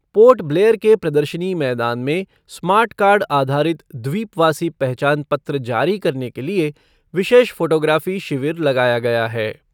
Port Blair के प्रदर्शनी मैदान में स्मार्ट कार्ड आधारित द्वीपवासी पहचान पत्र जारी करने के लिए विशेष फ़ोटोग्राफ़ी शिविर लगाया गया है।